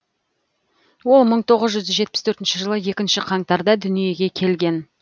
ол мың тоғыз жүз жетпіс төртінші жылы екінші қаңтарда дүниеге келген